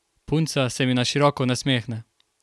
Punca se mi na široko nasmehne.